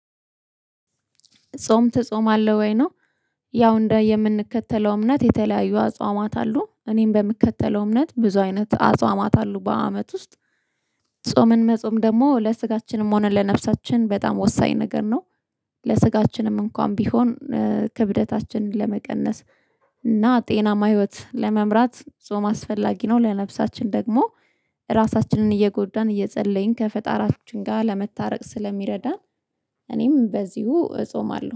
ጾም ትጾማለሁ ወይ? ነው ያው እንደ የምንከተለው እምነት የተለያዩ አጽዋማት አሉ እኔም በምከተለው እምነት ብዙ አይነት አጽዋማት አሉ በአመት ውስጥ። ጾምን መጾም ደግሞ ለስጋችንም ሆነ ለነፍሳችን በጣም ወሳኝ ነገር ነው። ለስጋችንም እንኳን ቢሆን ክብደታችንን ለመቀነስ እና ጤናማ ህይወት ለመምራት ጾም አስፈላጊ ነው። ለነፍሳችን ደግሞ ራሳችንን እየጎዳን እየጸለይን ከፈጣራችን ጋር ለመታረቅ ስለሚረዳን። እኔም በዚሁ እጾማለሁ